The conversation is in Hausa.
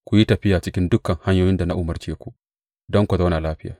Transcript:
Ku yi tafiya cikin dukan hanyoyin da na umarce ku, don ku zauna lafiya.